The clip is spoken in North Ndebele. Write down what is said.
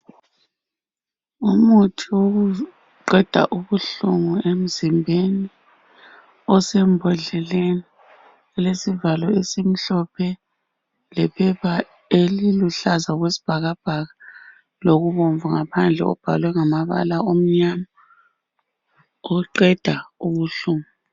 Umuthi wokuqeda ubuhlungu emzimbeni osembodleleni elesivalo esimhlophe lephepha eliluhlaza okwesibhakabhaka Lokubomvu ngaphandle okubhalwe ngamabala amnyama okuqeda ubuhlungu